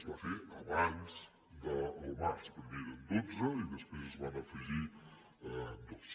es va fer abans del març primer eren dotze i després se’n van afegir dos